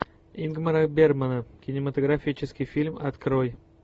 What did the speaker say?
ингмара бергмана кинематографический фильм открой